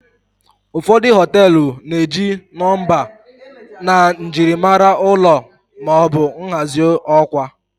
ụfọdụ họtelu na-eji nọmba na njirimara ụlọ ma ọ bụ nhazi ọkwa